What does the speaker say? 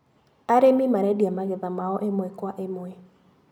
Arĩmi marendia magetha mao ĩmwe kwa ĩmwe.